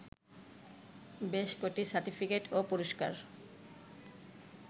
বেশ কটি সার্টিফিকেট ও পুরস্কার